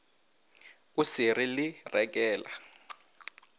o se re le rekela